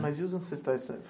Mas e os ancestrais?